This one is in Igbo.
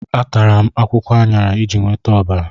Atara m akwụkwọ aṅara iji nweta ọbara.